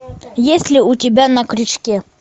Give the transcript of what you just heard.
есть ли у тебя на крючке